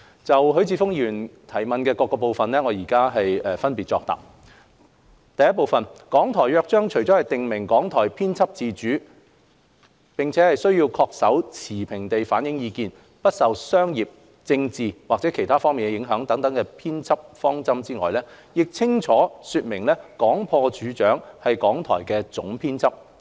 就許智峯議員質詢的各個部分，我現分別答覆如下：一《港台約章》除了訂明港台編輯自主並須恪守持平地反映意見、不受商業、政治及/或其他方面的影響等編輯方針外，亦清楚說明廣播處長是港台的總編輯。